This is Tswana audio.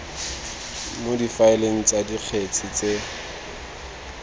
mo difaeleng tsa dikgetse tse